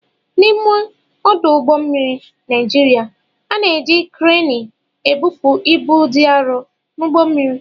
N'ime ọdụ ụgbọ mmiri Naijiriya, a na-eji kreenị ebupu ibu dị arọ n'ụgbọ mmiri.